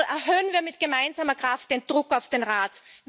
Erhöhen wir mit gemeinsamer Kraft den Druck auf den Rat!